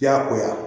Diyagoya